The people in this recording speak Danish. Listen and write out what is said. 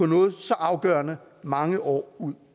noget så afgørende mange år ud